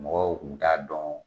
Mɔgɔw kun t'a dɔn